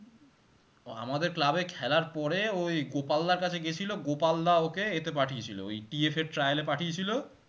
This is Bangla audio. আমাদের club এ খেলার পরে ঐ গোপাল দাড় কাছে গেছিলো গোপাল দা ওকে এতে পাঠিয়েছিল, ওই TF এর trial এ পাঠিয়ে ছিল